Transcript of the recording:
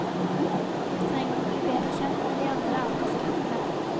Vi trenger å bli bedre kjent med de andre aldersgruppene.